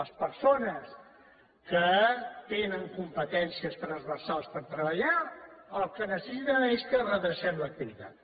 les persones que tenen competències transversals per treballar el que necessiten és que redrecem l’activitat